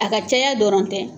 A ka caya dɔrɔn tɛ